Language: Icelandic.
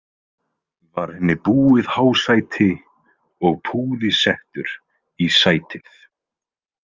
Var henni búið hásæti og púði settur í sætið.